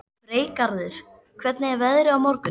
Freygarður, hvernig er veðrið á morgun?